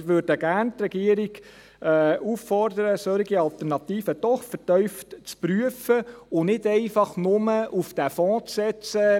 Wir würden die Regierung gerne auffordern, solche Alternativen doch vertieft zu prüfen und nicht nur einfach auf diesen Fonds zu setzen.